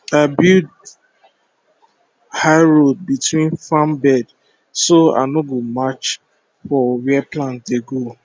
i build high road between farm bed so i no go match for where plant dey grow